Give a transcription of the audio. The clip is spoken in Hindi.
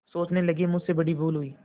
सोचने लगेमुझसे बड़ी भूल हुई